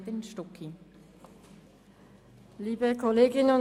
Kürzung um zusätzliche 10 %.